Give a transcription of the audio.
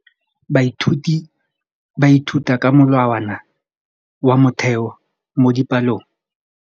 Baithuti ba ithuta ka molawana wa motheo mo dipalong.